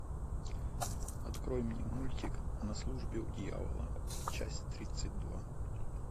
открой мне мультик на службе у дьявола часть тридцать два